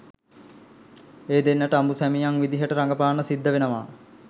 ඒ දෙන්නට අඹු සැමියන් විදිහට රඟපාන්න සිද්ධ වෙනවා